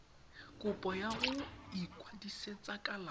kopo ya go ikwadisetsa kalafi